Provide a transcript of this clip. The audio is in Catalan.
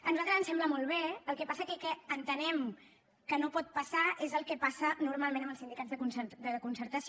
a nosaltres ens sembla molt bé però el que passa és que entenem que no pot passar és el que passa normalment amb els sindicats de concertació